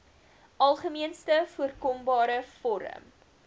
algemeenste voorkombare vorm